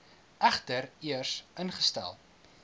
egter eers ingestel